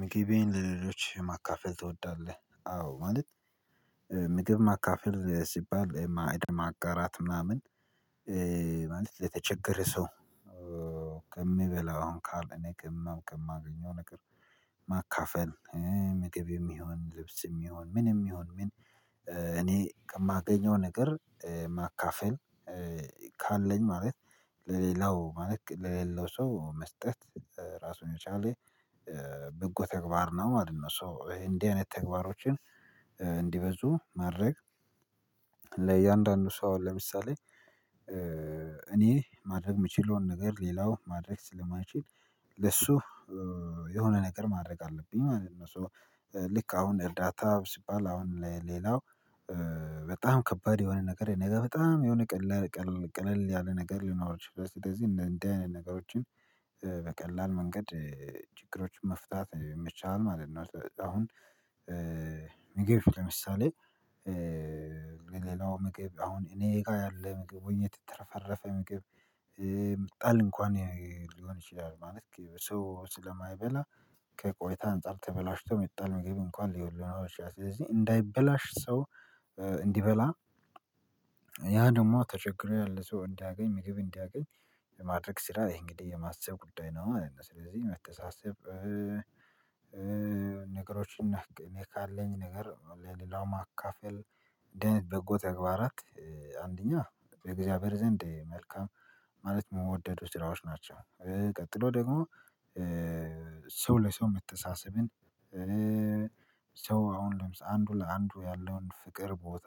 ምግቤን ለሌሎች ማካፈል ትወዳለህ? አዎ ማለት ምግብ ማካፈል ሲባል ማዕድ ማጋራት ምናምን ማለት የተቸገረ ሰው ከሚበላው ካለኝ እኔ ከማገኘው ነገር ማካፈል ምግብም ይሁን ልብስም ይሁን ምንም ይሁን ምን እኔ ከማገኘው ነገር ማካፈል ካለኝ ማለት ለሌላው ማለት ለሌለው ሰው መስጠት ራሱን የቻለ በጎ ተግባር ነው ማለት ነው። ሶ እንዲህ አይነት ተግባሮችን እንዲበዙ ማድረግ ሶ ለምሳሌ እኔ ማድረግ የምችለውን ነገር ሌላው ማድረግ ስለማይችል ለሱ የሆነ ነገር ማድረግ አለብኝ ማለት ነው። ሶ ልክ አሁን እርዳታ ሲባል አሁን ለሌላው በጣም ከባድ የሆነ ነገር ነው ነገ በጣም የሆነ ቀላል ቀለል ያለ ነገር ሊኖር ይችላል ስለዚህ እንደዚህ አይነት ነገሮችን በቀላል መንገድ ችግሮችን መፍታት ይመችሃል ማለት ነው። አሁን ምግብ ለምሳሌ ለሌላው ምግብ አሁን እኔ ጋር ያለ ምግብ ወይን የተትረፈረፈ ምግብ ሚጣል እንኳን ሊሆን ይችላል ማለት ሰው ስለማይበላ ከቆይታ አንፃር ተበላሽቶ የሚጣል ምግብ እንኳን ሊኖር ይችላል ስለዚህ እንዳይበላሽ ሰው እንዲበላ ያ ደግሞ ተቸግሮ ያለ ሰው እንዳያገኝ ምግብ እንዲያገኝ የማድረግ ስራ ይሄ እንግዲህ የማሰብ ጉዳይ ነው። ስለዚህ መተሳሰብ ነገሮችን እኔ ካለኝ ነገር ለሌላው ማካፈል እንደዚህ በጎ ተግባራት አንደኛ የእግዚአብሔር ዘንድ መልካም ማለት የሚወደዱ ስራዎች ናቸው። ቀጥሎ ደግሞ ሰው ለሰው የምትተሳሰብን ሰው አሁን ለምሳሌ አንዱ ለአንዱ ያለውን ፍቅር ቦታ